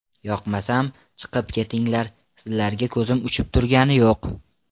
Yoqmasam, chiqib ketinglar, sizlarga ko‘zim uchib turgani yo‘q.